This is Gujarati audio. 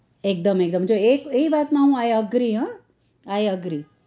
એકદમ એકદમ જો એ કઈ વાત નું i agree હા i agree હા